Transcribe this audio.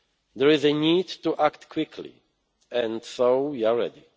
There is a need to act quickly, and so we are ready.